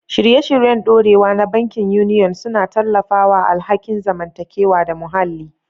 Shirye-shiryen dorewa na bankin Union suna tallafawa alhakin zamantakewa da muhalli.